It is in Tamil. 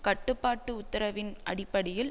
கட்டுப்பாட்டு உத்தரவின் அடிப்படையில்